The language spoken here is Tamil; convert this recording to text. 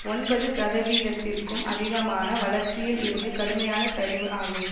ஒன்பது சதவிகிதத்திற்கும் அதிகமான வளர்ச்சியில் இருந்து கடுமையான சரிவு ஆகும்